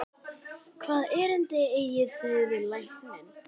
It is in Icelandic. Hvaða erindi eigið þér við lækninn?